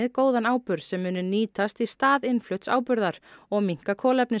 góðan áburð sem muni nýtast í stað innflutts áburðar og minnka